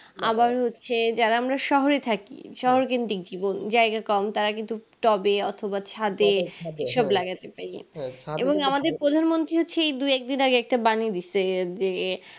আবার হচ্ছে যারা আমরা শহরে থাকি শহর কেন্দ্রিক জীবন জায়গা কম তারা কিন্তু tub এ অথবা ছাদে সব লাগাতে পাই এবং আমাদের প্রধানমন্ত্রী সেই দু একদিন আগে একটা বাণী দিছে যে